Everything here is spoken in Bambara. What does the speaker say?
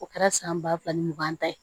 O kɛra san ba fila ni mugan ta ye